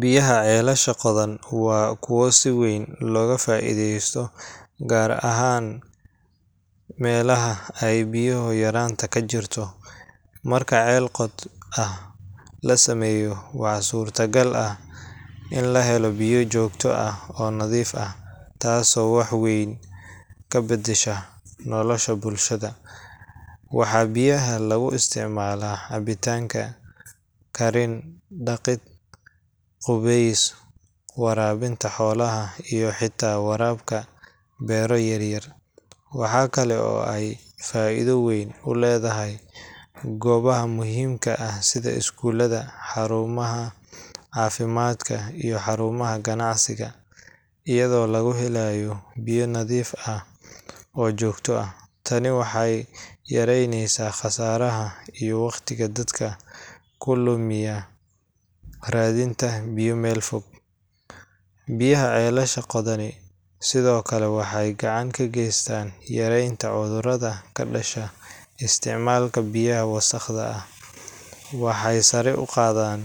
Biyaha ceelasha qodan waa kuwo si weyn looga faa’iidaysto, gaar ahaan meelaha ay biyo-yaraanta ka jirto. Marka ceel qod ah la sameeyo, waxaa suurtagal ah in la helo biyo joogto ah oo nadiif ah, taasoo wax weyn ka beddesha nolosha bulshada. Waxaa biyahaas lagu isticmaalaa cabitaan, karin, dhaqid, qubeyska, waraabinta xoolaha, iyo xitaa waraabka beero yar yar. Waxaa kale oo ay faa’iido weyn u leeyihiin goobaha muhiimka ah sida iskuullada, xarumaha caafimaadka, iyo xarumaha ganacsiga, iyadoo laga helayo biyo nadiif ah oo joogto ah. Tani waxay yareyneysaa kharashka iyo waqtiga dadka ku lumiya raadinta biyo meel fog. Biyaha ceelasha qodani sidoo kale waxay gacan ka geystaan yareynta cudurrada ka dhasha isticmaalka biyaha wasaqda ah, waxayna sare u qaadaan